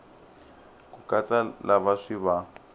ku katsa lava swi va